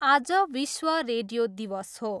आज विश्व रेडियो दिवस हो।